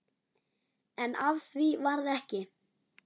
En af því varð ekki.